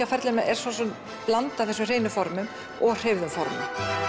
á ferlinum er blanda af þessum hreinu formum og hreyfðu formum